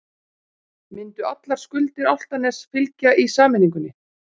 Myndu allar skuldir Álftaness fylgja í sameiningunni?